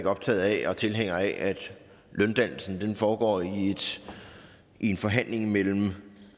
optaget af og tilhænger af at løndannelsen foregår i en forhandling imellem